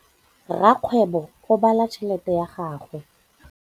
Rakgwêbô o bala tšheletê ya gagwe.